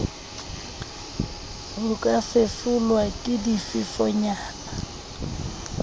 ho ka fefolwa ke difefonyana